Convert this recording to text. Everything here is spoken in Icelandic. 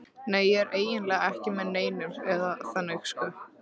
Nei, ég er eiginlega ekki með neinum, eða þannig sko.